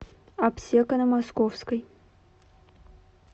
аптека на московской